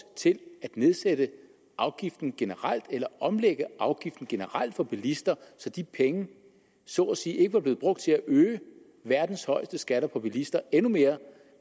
til at nedsætte afgiften generelt eller at omlægge afgiften generelt for bilister så de penge så at sige ikke bliver brugt til at øge verdens højeste skatter for bilister endnu mere